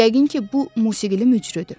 Yəqin ki, bu musiqili möcüdür.